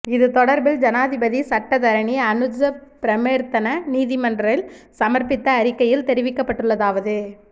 இது தொடர்பில் ஜனாதிபதி சட்டத்தரணி அனுஜ பிரேமரத்ன நீதிமன்றில் சமர்ப்பித்த அறிக்கையில் தெரிவிக்கப்பட்டுள்ளதாவது